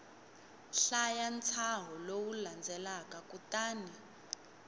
hlaya ntshaho lowu landzelaka kutani